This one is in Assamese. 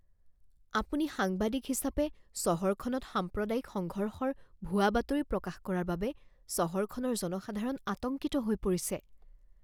আপুনি সাংবাদিক হিচাপে চহৰখনত সাম্প্ৰদায়িক সংঘৰ্ষৰ ভুৱা বাতৰি প্ৰকাশ কৰাৰ বাবে চহৰখনৰ জনসাধাৰণ আতংকিত হৈ পৰিছে।